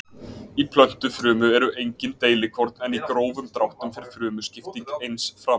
Í plöntufrumu eru engin deilikorn en í grófum dráttum fer frumuskipting eins fram.